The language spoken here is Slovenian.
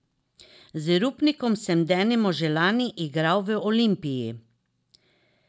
Z Rupnikom sem denimo že lani igral v Olimpiji.